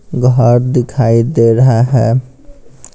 घर दिखाई दे रहा है।